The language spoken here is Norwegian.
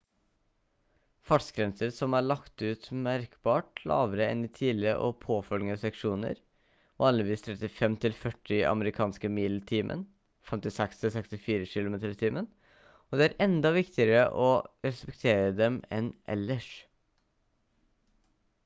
fartsgrenser som er lagt ut er merkbart lavere enn i tidligere og påfølgende seksjoner – vanligvis 35–40 amerikanske mil i timen 56–64 km/t – og det er enda viktigere å respektere dem enn ellers